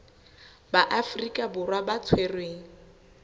ba afrika borwa ba tshwerweng